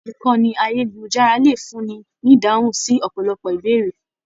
Ìkànnì ayelujara le fún ní ní ìdáhùn sí ọpọlọpọ ìbéèrè.